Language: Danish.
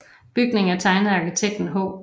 Bygningen er tegnet af arkitekten H